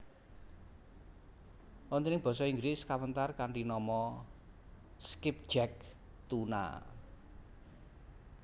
Wonten ing Basa Inggris kawentar kanthi nama skipjack tuna